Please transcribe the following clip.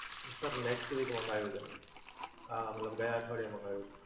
Sir next week મંગાવેલું. આહ, મતલબ ગયા અઠવાડિયે મંગાવેલું.